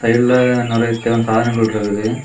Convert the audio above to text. உள்ள நறைய தேவையான சாதனங்கள் இருக்கு.